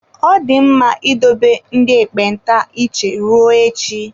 Ọ dị mma idebe ndị ekpenta iche ruo echi.